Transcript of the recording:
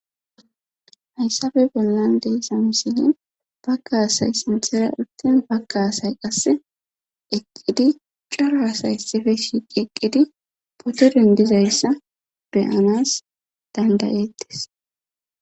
hayssape bollan deiza misilen bagga asay sinthere urtin bagga asay qasse eqqidi coro asayi issippe shiiqi eqqidi poto dindizayssa beyanas dandayettis